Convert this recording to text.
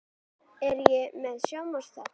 Er ég með sjónvarpsþátt?